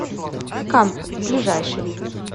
камп ближайший